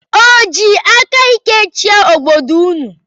O ji aka ike chịa obodo ụnụ?